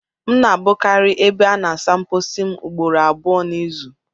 M na-abụkarị ebe a na-asa mposi m ugboro abụọ n'izu